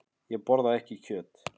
Ég borða ekki kjöt.